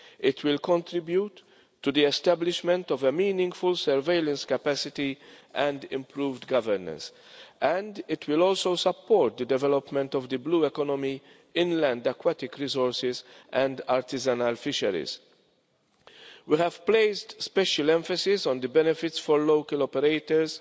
It will contribute to the establishment of a meaningful surveillance capacity and improved governance, and it will also support the development of the blue economy, inland aquatic resources and artisanal fisheries. We have placed special emphasis on the benefits for local operators